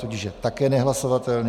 Tudíž je také nehlasovatelný.